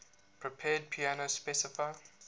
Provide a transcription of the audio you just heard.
prepared piano specify